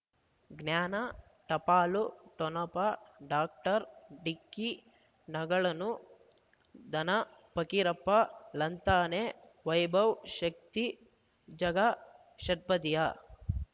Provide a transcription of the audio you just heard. ಜ್ಞಾನ ಟಪಾಲು ಠೊಣಪ ಡಾಕ್ಟರ್ ಢಿಕ್ಕಿ ಣಗಳನು ಧನ ಫಕೀರಪ್ಪ ಳಂತಾನೆ ವೈಭವ್ ಶಕ್ತಿ ಝಗಾ ಷಟ್ಪದಿಯ